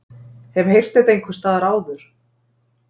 Hef heyrt þetta einhversstaðar áður.